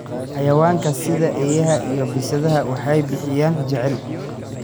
Xayawaanka sida eeyaha iyo bisadaha waxay bixiyaan jacayl.